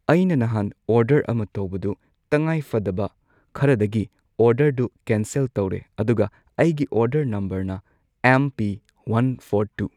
ꯑꯩꯅ ꯅꯍꯥꯟ ꯑꯣꯔꯗꯔ ꯑꯃ ꯇꯧꯕꯗꯣ ꯇꯉꯥꯏꯐꯗꯕ ꯈꯔꯗꯒꯤ ꯑꯣꯔꯗꯔꯗꯨ ꯀꯦꯟꯁꯦꯜ ꯇꯧꯔꯦ ꯑꯗꯨꯒ ꯑꯩꯒꯤ ꯑꯣꯔꯗꯔ ꯅꯝꯕꯔꯅ M P one four two